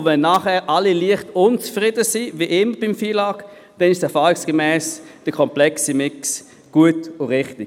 Wenn danach alle leicht unzufrieden sind, wie ich mit dem FILAG, dann ist erfahrungsgemäss der komplexe Mix gut und richtig.